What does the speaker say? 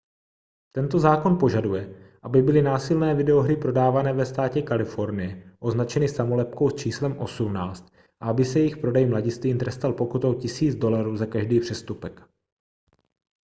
tento zákon požaduje aby byly násilné videohry prodávané ve státě kalifornie označeny samolepkou s číslem 18 a aby se jejich prodej mladistvým trestal pokutou 1 000 dolarů za každý přestupek